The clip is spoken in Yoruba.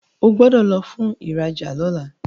O gbódò lò fún ìrajà lọla!